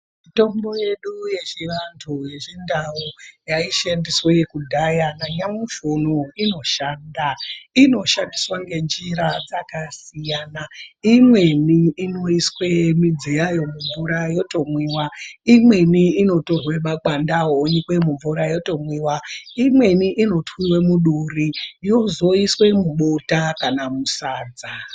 Mitombo yedu yechivantu, yechindau yaishandiswa kudhaya nanyamushi unowu inoshanda. Inoshandiswa ngenjira dzakasiyana, imweni inoiswa midzi yayo yotomwiwa. Imweni inotorwa makwande yawo ibekwa mumvura yotomwiwa. Imweni inotwiwa muduri yozoiswa mubota kana sadza.